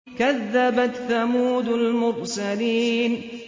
كَذَّبَتْ ثَمُودُ الْمُرْسَلِينَ